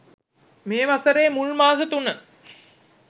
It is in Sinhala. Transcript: මේ වසරේ මුල් මාස තුන